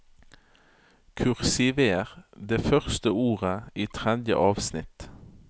Kursiver det første ordet i tredje avsnitt